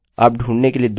यह आपकी मर्जी है